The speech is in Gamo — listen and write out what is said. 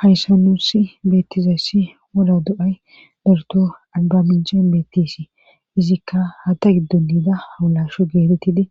Hayssan nuusi beettizayssi woda do7ay darto alba minchen beettisi izikka ha ta giddo niida hawulasho geetettidi